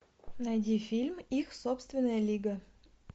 найди фильм их собственная лига